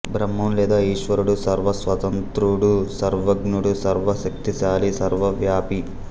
బ్రహ్మం లేదా ఈశ్వరుడు సర్వ స్వతంత్రుడు సర్వజ్ఞుడు సర్వ శక్తిశాలి సర్వవ్యాపి